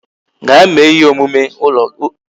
Gaa mee ihe omume ụlọ gị